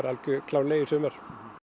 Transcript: alveg klárlega í sumar